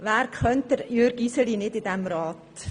Wer in diesem Rat kennt Jürg Iseli nicht?